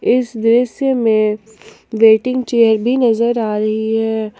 इस दृश्य में वेटिंग चेयर भी नजर आ रही है।